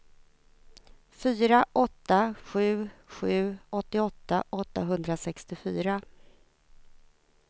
fyra åtta sju sju åttioåtta åttahundrasextiofyra